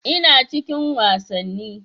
Ina cikin wasanni.